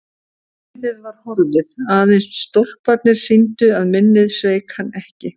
Hliðið var horfið, aðeins stólparnir sýndu að minnið sveik hann ekki.